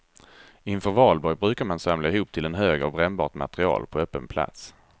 Inför valborg brukar man samla ihop till en hög av brännbart material på öppen plats.